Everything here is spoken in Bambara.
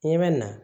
Ɲɛ bɛ na